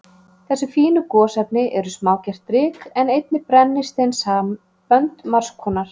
Þessi fínu gosefni eru smágert ryk, en einnig brennisteinssambönd margs konar.